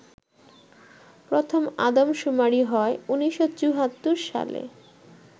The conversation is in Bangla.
প্রথম আদমশুমারি হয় ১৯৭৪ সালে